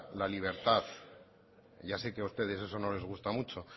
la libertad ya sé que a ustedes eso no les gusta mucho